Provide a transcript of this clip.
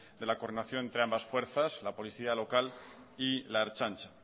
de la coordinación entre ambas fuerzas la policía local y la ertzaintza